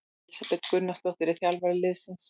Elísabet Gunnarsdóttir er þjálfari liðsins.